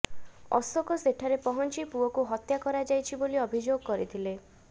ଅଶୋକ ସେଠାରେ ପହଞ୍ଚି ପୁଅକୁ ହତ୍ୟା କରାଯାଇଛି ବୋଲି ଅଭିଯୋଗ କରିଥିଲେ